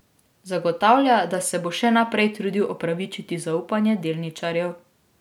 Zagotavlja, da se bo še naprej trudil opravičiti zaupanje delničarjev.